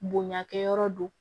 Bonya kɛyɔrɔ don